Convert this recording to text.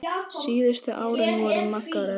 Síðustu árin voru Magga erfið.